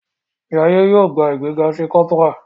Jaiye yóò gbà ìgbéga sí Corporal.